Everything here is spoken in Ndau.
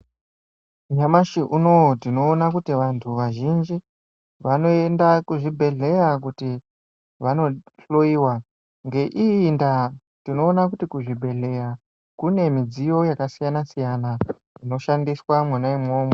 Nyamashi unowu tinoona kuti vantu vazhinji vanoenda kuzvibhedhlera kuti Vanohloiwa ngeiyi nda tinoona kuti kuzvibhedhlera kune midziyo yakasiyana siyana inoshandiswa imomo.